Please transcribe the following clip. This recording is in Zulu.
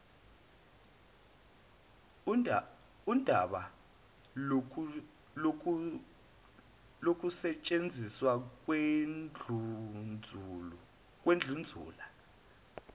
undaba lokusetshenziswa kwendlunzula